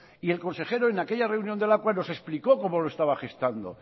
y el consejero en aquella reunión de lakua nos explicó cómo lo estaba gestando